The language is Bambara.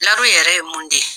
Laro yɛrɛ ye mun de ?